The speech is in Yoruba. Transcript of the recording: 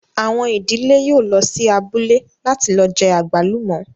Àwọn ìdílé yóò lọ sí abúlé láti lọ jẹ àgbálùmọ́